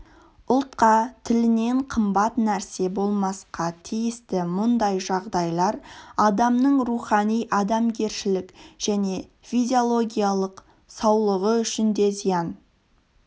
ұлтқа тілінен қымбат нәрсе болмасқа тиісті мұндай жағдайлар адамның рухани-адамгершілік және физиологиялық саулығы үшін де зиян